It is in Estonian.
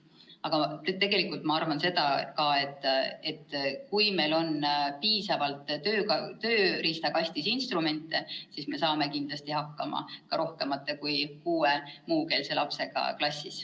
Aga tegelikult ma arvan seda, et kui meil on tööriistakastis piisavalt instrumente, siis me saame kindlasti hakkama ka rohkema kui kuue muukeelse lapsega klassis.